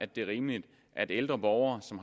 det er rimeligt at ældre borgere som